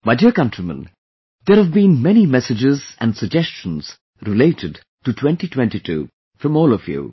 My dear countrymen, there have been many messages and suggestions related to 2022 from all of you